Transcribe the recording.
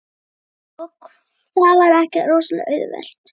Og það var ekkert rosalega auðvelt.